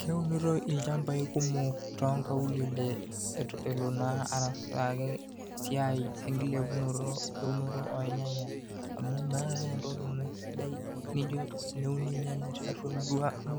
Keunitoi ilchampai kumok toonkaulele eloo naa arasaki esiai enkilepunoto eunoto ornyanya amu meeta siininye entoki sidai naijo teneuni irnyanya tiatua ang,